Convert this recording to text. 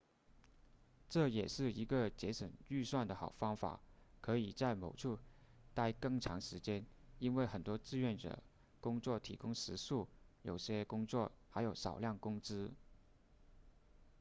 这也是一个节省预算的好方法可以在某处待更长时间因为很多志愿者工作提供食宿有些工作还有少量工资